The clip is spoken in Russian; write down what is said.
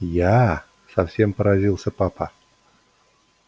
я совсем поразился папа